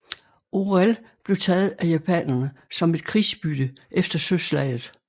Orel blev taget af japanerne som et krigsbytte efter søslaget